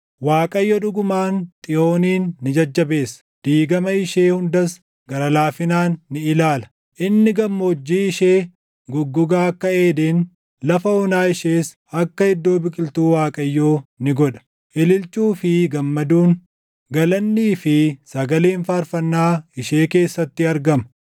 Waaqayyo dhugumaan Xiyoonin ni jajjabeessa; diigama ishee hundas gara laafinaan ni ilaala; inni gammoojjii ishee goggogaa akka Eeden, lafa onaa ishees akka iddoo biqiltuu Waaqayyoo ni godha. Ililchuu fi gammaduun, galannii fi sagaleen faarfannaa ishee keessatti argama.